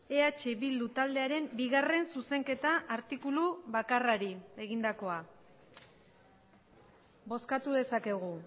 eh bildu taldearen bigarren zuzenketa artikulu bakarrari egindakoa bozkatu dezakegu